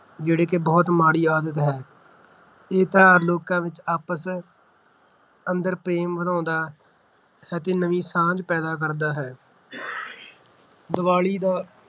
ਜਿਹੜੀ ਕਿ ਬਹੁਤ ਮਾੜੀ ਆਦਤ ਹੈ । ਇਹ ਤਿਉਹਾਰ ਲੋਕਾਂ ਵਿੱਚ ਆਪਸ ਅੰਦਰ ਪ੍ਰੇਮ ਪਿਆਰ ਵਧਾਉਂਦਾ ਹੈ ਤੇ ਨਵੀਂ ਸਾਂਝ ਪੈਦਾ ਕਰਦਾ ਹੈ ਦੀਵਾਲੀ ਦਾ